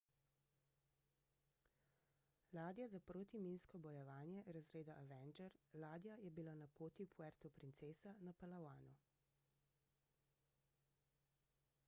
ladja za protiminsko bojevanje razreda avenger ladja je bila na poti v puerto princesa na palawanu